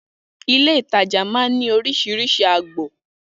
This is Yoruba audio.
Ilé-ìtajà máa ń ní oríṣiríṣi agbọn